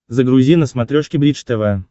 загрузи на смотрешке бридж тв